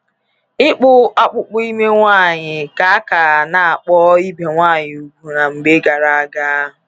Ịkpụ akpụkpọ ime nwanyị ka a ka a na-akpọ ibe nwaanyị ùgwù na mgbe gara-aga.